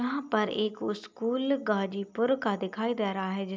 यहां पर एक उस्कूल गाजीपुर का दिखाई दे रहा है जिस --